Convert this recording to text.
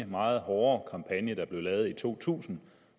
meget hårde kampagne der blev lavet i to tusind